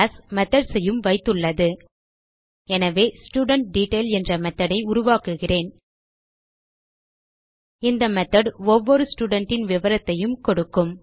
methodsஐயும் வைத்துள்ளது எனவே ஸ்டூடன்ட்டெட்டைல் என்ற மெத்தோட் ஐ உருவாக்குகிறேன் இந்த மெத்தோட் ஒவ்வொரு studentன் விவரத்தையும் கொடுக்கும்